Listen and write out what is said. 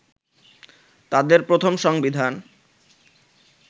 তাদের প্রথম সংবিধান